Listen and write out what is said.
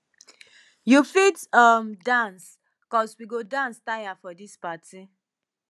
you fit um dance cos we go dance tire for dis party